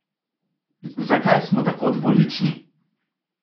Zakaj smo tako dvolični?